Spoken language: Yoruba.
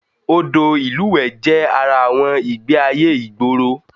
Odò ìlúwẹ̀ẹ́ jẹ́ ara àwọn ìgbé-ayé ìgboro